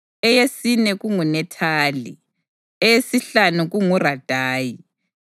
eyesine kunguNethaneli, eyesihlanu kunguRadayi,